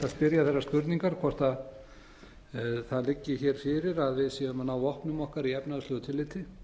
spyrja þeirrar spurningar hvort það liggi hér fyrir að við séum að ná vopnum okkar í efnahagslegu tilliti